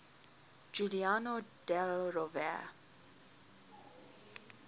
giuliano della rovere